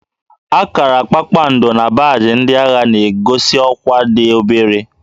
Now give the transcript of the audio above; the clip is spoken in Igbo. Akara kpakpando na baajị ndị agha na-egosi ọkwá dị obere